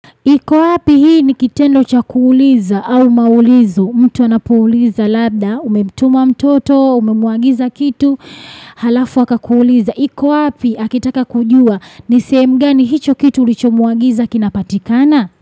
Iko wapi hii ni kitendo cha kuuliza au maulizo, mtu anapouliza labda, umemtuma mtoto, umemwagiza kitu, halafu aka kuuliza. Iko wapi, akitaka kujua, ni sehemu gani hicho kitu ulichomuagiza kinapatikana.